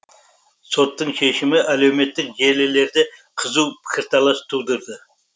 соттың шешімі әлеуметтік желілерде қызу пікірталас тудырды